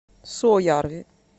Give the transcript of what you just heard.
суоярви